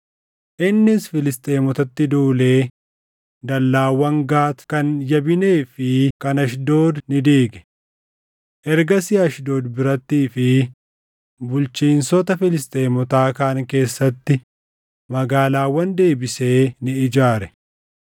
Innis Filisxeemotatti duulee dallaawwan Gaati, kan Yabinee fi kan Ashdood ni diige. Ergasii Ashdood birattii fi bulchiinsota Filisxeemotaa kaan keessatti magaalaawwan deebisee ni ijaare.